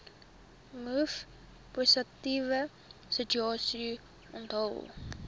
mivpositiewe status onthul